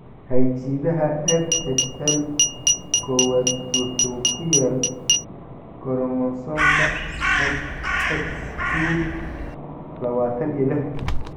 Hidde-sidaha FHL kowadwuxuu ku yaal koromosoomka Xq lawatan iyo lix.